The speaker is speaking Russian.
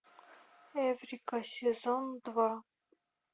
эврика сезон два